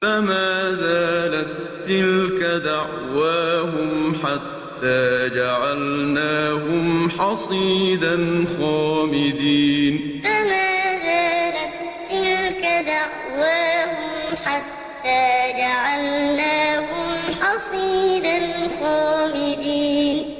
فَمَا زَالَت تِّلْكَ دَعْوَاهُمْ حَتَّىٰ جَعَلْنَاهُمْ حَصِيدًا خَامِدِينَ فَمَا زَالَت تِّلْكَ دَعْوَاهُمْ حَتَّىٰ جَعَلْنَاهُمْ حَصِيدًا خَامِدِينَ